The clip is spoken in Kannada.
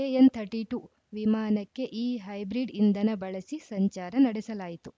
ಎಎನ್‌ಥರ್ಟಿ ಟೂ ವಿಮಾನಕ್ಕೆ ಈ ಹೈಬ್ರಿಡ್‌ ಇಂಧನ ಬಳಸಿ ಸಂಚಾರ ನಡೆಸಲಾಯಿತು